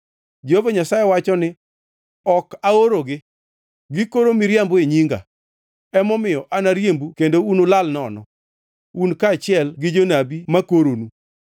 Jehova Nyasaye wacho ni, ‘Ok aorogi. Gikoro miriambo e nyinga. Emomiyo, anariembu kendo unulal nono, un kaachiel gi jonabi ma koronu.’ ”